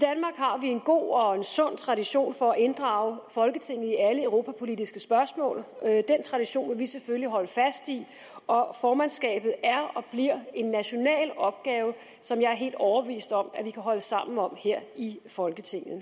har vi en god og sund tradition for at inddrage folketinget i alle europapolitiske spørgsmål den tradition vil vi selvfølgelig holde fast i og og formandskabet er og bliver en national opgave som jeg er helt overbevist om at vi kan holde sammen om her i folketinget